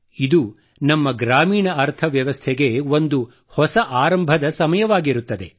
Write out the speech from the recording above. ಇದು ನಮ್ಮ ಗ್ರಾಮೀಣ ಅರ್ಥವ್ಯವಸ್ಥೆಗೆ ಒಂದು ಹೊಸ ಆರಂಭದ ಸಮಯವಾಗಿರುತ್ತದೆ